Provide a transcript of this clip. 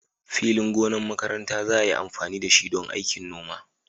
Filin gonar makaranta za a yi amfani da shi don aikin noma